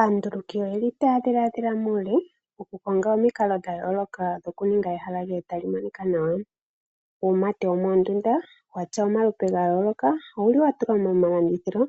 Anduluki oyeli taya dhiladhila muule onga omukalo dhayoloka okuninga ehala lyoye li kale tali monika nawa. Uumate womondunda watya omalupe ga yoloka owuli wa tulwa momalandithilo